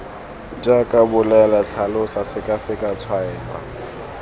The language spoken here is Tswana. jaaka bolela tlhalosa sekaseka tshwaela